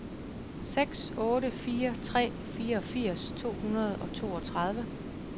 seks otte fire tre fireogfirs to hundrede og treogtredive